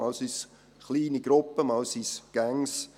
Einmal sind es kleine Gruppen, einmal sind es Gangs.